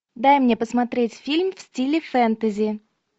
дай мне посмотреть фильм в стиле фэнтези